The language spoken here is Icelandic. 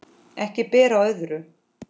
Ekki ber á öðru.